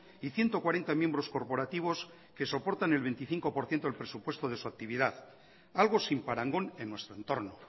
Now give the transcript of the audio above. y ciento cuarenta miembros corporativos que soportan el veinticinco por ciento del presupuesto de su actividad algo sin parangón en nuestro entorno